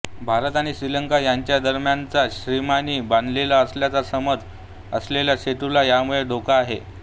भारत आणि श्रीलंका यांच्या दरम्यानच्या श्रीरामांनी बांधलेला असल्याचा समज असलेल्या सेतूला यामुळे धोका आहे